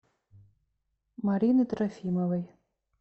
марины трофимовой